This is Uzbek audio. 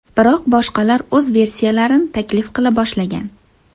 Biroq boshqalar o‘z versiyalarini taklif qila boshlagan.